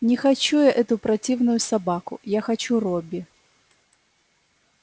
не хочу я эту противную собаку я хочу робби